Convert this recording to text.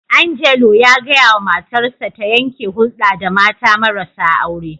Angelo ya gaya wa matarsa ta yanke hulda da mata marasa aure.